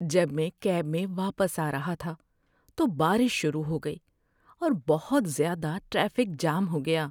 جب میں کیب میں واپس آ رہا تھا تو بارش شروع ہو گئی، اور بہت زیادہ ٹریفک جام ہو گیا۔